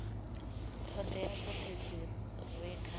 ṱhoḓea dzoṱhe dzi re kha